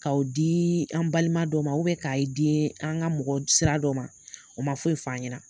K'aw di an balima dɔw ma k'a i di an ka mɔgɔ sira dɔw ma, o ma foyi f'an ɲɛna